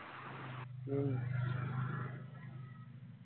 മ്മ്